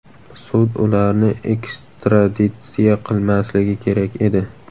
Sud ularni ekstraditsiya qilmasligi kerak edi.